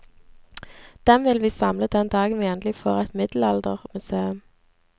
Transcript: Dem vil vi samle den dagen vi endelig får et middelaldermuseum.